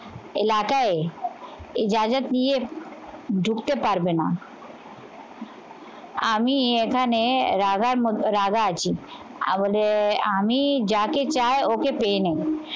এলাকায় এই যা যা নিয়ে ঢুকতে পারবে না আমি এখানে রাধার রাধা আছি। আমাদের আমি যাকে চাই ওকে পেয়ে নেব।